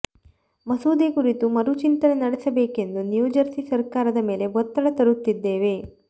ಮಸೂದೆ ಕುರಿತು ಮರುಚಿಂತನೆ ನಡೆಸಬೇಕೆಂದು ನ್ಯೂಜೆರ್ಸಿ ಸರ್ಕಾರದ ಮೇಲೆ ಒತ್ತಡ ತರುತ್ತಿದ್ದೇವೆ